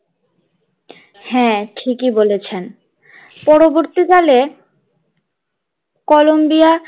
হাঁ ঠিক ই বলেছেন পরবর্তীকালে কলম্বিয়া